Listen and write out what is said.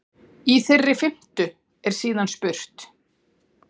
Í þeirri fimmtu er síðan spurt?